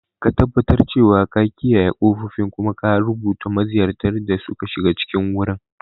Ka tabbatar cewa ka kiyaye ƙofofin, kuma ka rubuta maziyartan da suka shiga cikin wurin.